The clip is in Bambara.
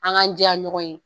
An k'an jɛya ɲɔgɔn ye